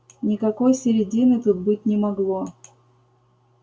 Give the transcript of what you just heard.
никакой середины тут быть не могло